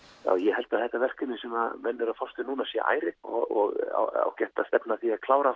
ég held að þetta verkefni sem menn eru að fást við núna sé ærið og ágætt að stefna að því að klára